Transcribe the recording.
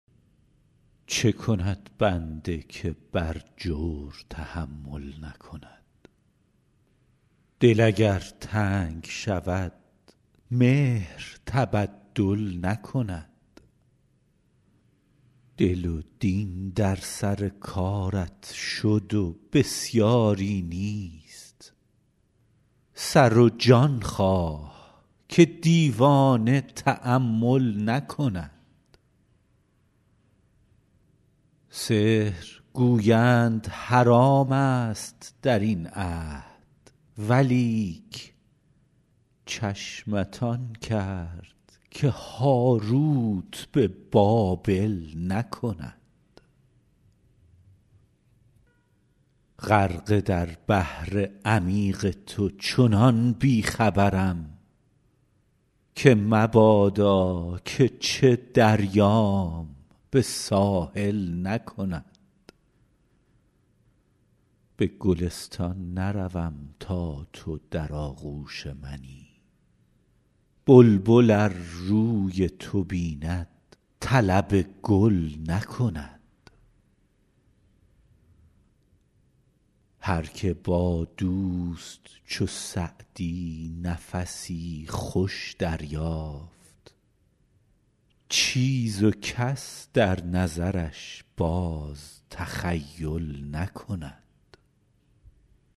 چه کند بنده که بر جور تحمل نکند دل اگر تنگ شود مهر تبدل نکند دل و دین در سر کارت شد و بسیاری نیست سر و جان خواه که دیوانه تأمل نکند سحر گویند حرام ست در این عهد ولیک چشمت آن کرد که هاروت به بابل نکند غرقه در بحر عمیق تو چنان بی خبرم که مبادا که چه دریام به ساحل نکند به گلستان نروم تا تو در آغوش منی بلبل ار روی تو بیند طلب گل نکند هر که با دوست چو سعدی نفسی خوش دریافت چیز و کس در نظرش باز تخیل نکند